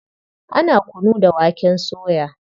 Ana kunu da waken soya.